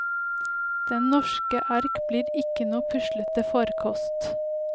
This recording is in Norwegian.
Den norske ark blir ikke noen puslete farkost.